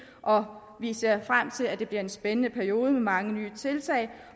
og vi ser frem til at det bliver en spændende periode med mange nye tiltag